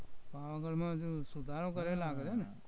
પાવાગઢમાં